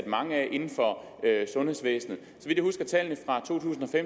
mange af inden for sundhedsvæsenet